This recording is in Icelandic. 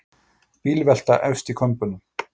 Bílvelta efst í Kömbunum